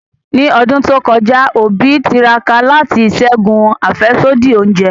Ni ọdun to kọja, Obi tiraka lati ṣẹgun afẹsodi ounjẹ.